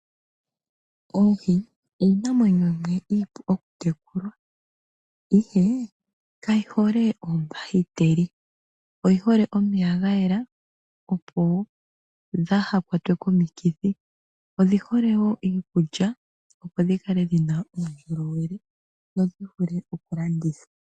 Oohi iinamwenyo yimwe iipu oku tekulwa, ihe ka yi hole oombahiteli oyihole omeya ga yela opo dhaa ha kwatwe komikithi. Odhi hole wo iikulya opo dhikale dhina uundjolowele nodhi vule wo okulandithwa.